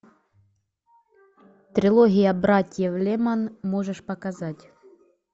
трилогия братьев леман можешь показать